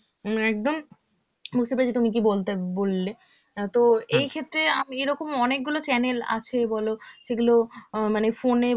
উম একদম উম বুঝতে পেরেছি তুমি কি বলতে~ বললে, তো এই ক্ষেত্রে আমি এরকম অনেকগুলো channel আছে বলো, যেগুলো আ মানে phone এ